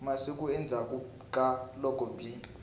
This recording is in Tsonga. masiku endzhaku ka loko byi